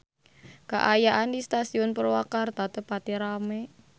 Kaayaan di Stasiun Purwakarta teu pati rame